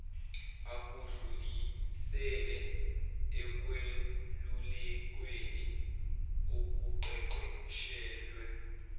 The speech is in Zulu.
akudlulisele ekwelulekweni okuqeqeshelwe